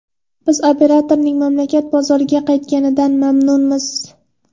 Biz operatorning mamlakat bozoriga qaytganidan mamnunmiz.